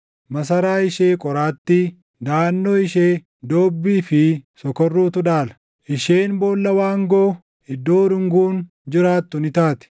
Masaraa ishee qoraattii, daʼannoo ishee doobbii fi sokorruutu dhaala. Isheen boolla waangoo, iddoo urunguun jiraattu ni taati.